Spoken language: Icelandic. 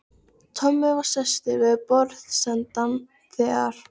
Tommi var sestur við borðsendann þegar